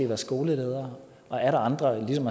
været skoleledere og atter andre er som